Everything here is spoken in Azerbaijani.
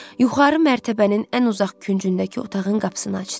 Yuxarı mərtəbənin ən uzaq küncündəki otağın qapısını açdı.